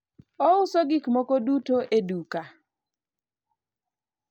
ouso gik moko duto e duke